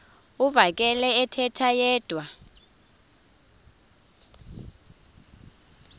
uvakele ethetha yedwa